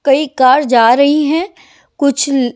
कई कार जा रही हैं कुछ--